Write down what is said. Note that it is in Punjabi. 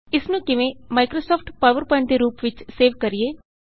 ਇਸ ਨੂੰ ਕਿਵੇਂ ਮਾਇਕ੍ਰੋਸਾਫਟ ਪਾਵਰ ਪਵਾਏੰਟ ਦੇ ਰੂਪ ਵਿਚ ਸੇਵ ਕਰੀਏ